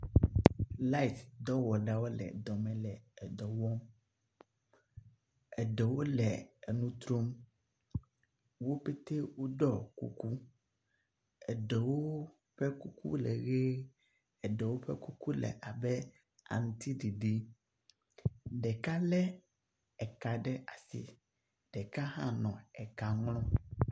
Lait dɔwɔla aɖewo le dɔ me le dɔ wɔm, eɖewo le nu trom, wobete woɖɔ kuku, eɖewo ƒe kuku le ʋe, eɖewo ƒe kuku le abe aŋutiɖiɖi, ɖeka lé eka ɖe asi, ɖeka hã nɔ eka ŋlɔm.